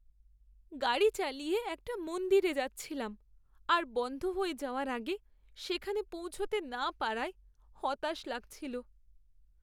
গাড়ি চালিয়ে একটা মন্দিরে যাচ্ছিলাম আর বন্ধ হয়ে যাওয়ার আগে সেখানে পৌঁছতে না পারায় হতাশ লাগছিল।